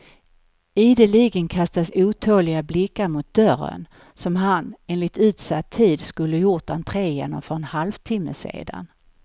Ideligen kastas otåliga blickar mot dörren som han, enligt utsatt tid, skulle gjort entré genom för en halvtimme sedan.